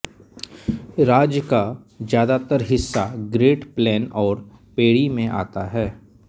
राज्य का ज्यादातर हिस्सा ग्रेट प्लेन और प्रेरी में आता है